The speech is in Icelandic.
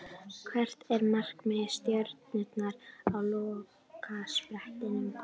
Hvert er markmið Stjörnunnar á lokasprettinum?